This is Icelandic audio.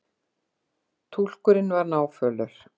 Túlkurinn var náfölur.